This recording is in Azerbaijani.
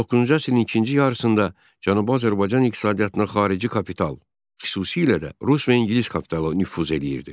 19-cu əsrin ikinci yarısında Cənubi Azərbaycan iqtisadiyyatına xarici kapital, xüsusilə də rus və ingilis kapitalı nüfuz eləyirdi.